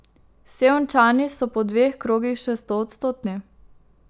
Sevničani so po dveh krogih še stoodstotni.